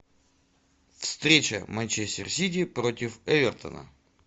встреча манчестер сити против эвертона